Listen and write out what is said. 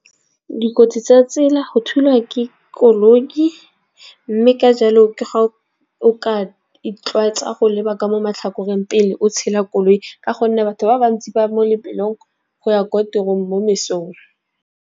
Dikotsi tsa tsela go thulwa ke koloi mme ka jalo o ke ga o ka itlwaetsa go leba ka mo matlhakoreng, pele o tshela koloi. Ka gonne batho ba bantsi ba mo lebelong go ya kwa tirong mo mesong.